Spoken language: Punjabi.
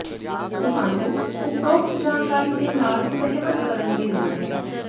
ਤੁਹਾਨੂੰ ਉਪਰੋਕਤ ਜਾਣਕਾਰੀ ਦੇ ਨਾਲ ਸਹਿਮਤ ਕਰਨ ਦੀ ਲੋੜ ਹੈ